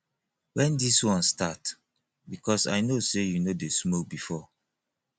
wen dis one start because i know say you no dey smoke before